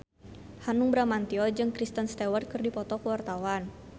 Hanung Bramantyo jeung Kristen Stewart keur dipoto ku wartawan